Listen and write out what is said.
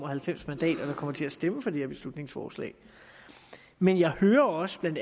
halvfems mandater der kommer til at stemme for det her beslutningsforslag men jeg hører også bla